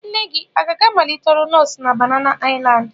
Nne gị aga-amalite ọrụ nọọsụ na Banana Island?